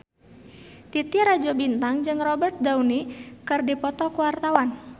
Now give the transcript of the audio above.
Titi Rajo Bintang jeung Robert Downey keur dipoto ku wartawan